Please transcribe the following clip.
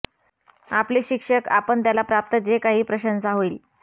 आपले शिक्षक आपण त्याला प्राप्त जे काही प्रशंसा होईल